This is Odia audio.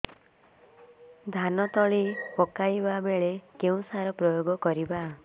ଧାନ ତଳି ପକାଇବା ବେଳେ କେଉଁ ସାର ପ୍ରୟୋଗ କରିବା